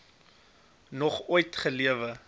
nog ooit gelewe